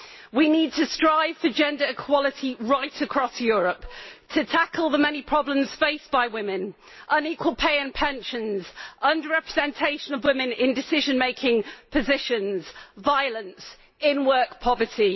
We need to strive for gender equality right across Europe, to tackle the many problems faced by women on equal pay and pensions, under representation of women in decision making positions, violence and in-work poverty.